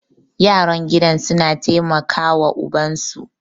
yaran gidan suna taimaka wa ubansu